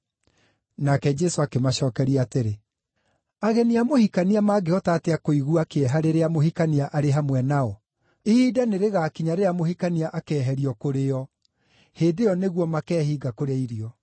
Nake Jesũ akĩmacookeria atĩrĩ, “Ageni a mũhikania mangĩhota atĩa kũigua kĩeha rĩrĩa mũhikania arĩ hamwe nao? Ihinda nĩrĩgakinya rĩrĩa mũhikania akeeherio kũrĩ o; hĩndĩ ĩyo nĩguo makeehinga kũrĩa irio.